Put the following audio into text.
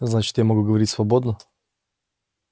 значит я могу говорить свободно